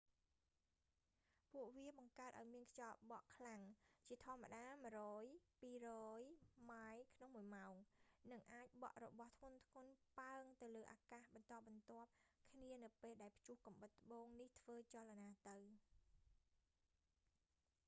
ពួកវាបង្កើតឱ្យមានខ្យល់បក់ខ្លាំង ជាធម្មតា 100-200 ម៉ាយ / ម៉ោង និងអាចបក់របស់ធ្ងន់ៗ ប៉ើងទៅលើអាកាសបន្តបន្ទាប់គ្នានៅពេលដែលព្យុះកំបុតត្បូងនេះធ្វើចលនាទៅ